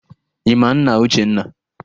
Ị ma nna Uchenna?